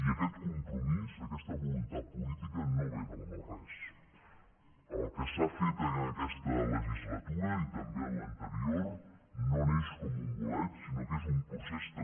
i aquest compromís aquesta voluntat política no ve del no res el que s’ha fet en aquesta legislatura i també en l’anterior no neix com un bolet sinó que és un procés també